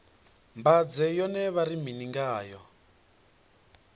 mbanzhe yone vha ri mini ngayo